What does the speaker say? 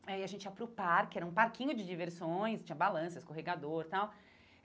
Aí a gente ia para o parque, era um parquinho de diversões, tinha balança, escorregador e tal.